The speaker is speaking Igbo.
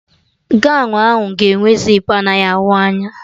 Gọwn ahụ ga enwe zipu anaghị ahụ anya